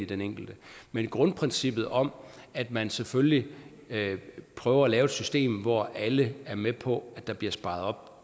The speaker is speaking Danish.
den enkelte men grundprincippet om at man selvfølgelig prøver at lave et system hvor alle er med på at der bliver sparet